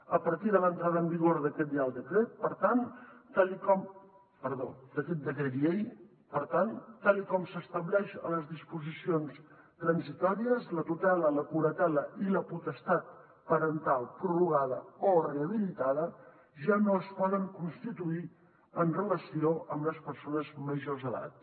a partir de l’entrada en vigor d’aquet decret llei per tant tal com s’estableix a les disposicions transitòries la tutela la curatela i la potestat parental prorrogada o rehabilitada ja no es poden constituir amb relació a les persones majors d’edat